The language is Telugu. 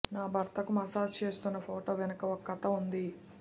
నా భర్తకు మసాజ్ చేస్తున్న ఫోటో వెనుక ఓ కథ ఉంది